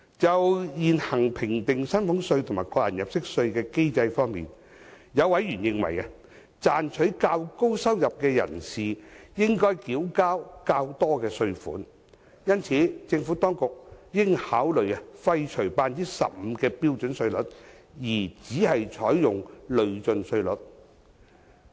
就現行評定薪俸稅和個人入息課稅的機制方面，有委員認為，賺取較高收入的人士理應繳交較多稅款，因此政府當局應考慮廢除 15% 的標準稅率而只採用累進稅率。